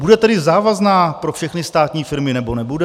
Bude tedy závazná pro všechny státní firmy, nebo nebude?